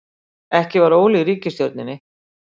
Ekki var Óli í ríkisstjórninni.